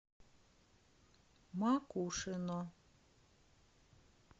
макушино